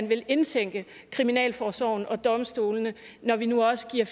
vil indtænke kriminalforsorgen og domstolene når vi nu også giver